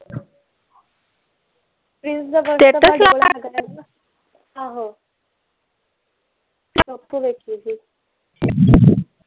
Prince ਦਾ ਆਹੋ ਮੈਂ ਤਾਂ ਓਥੇ ਵੇਖੀ ਸੀ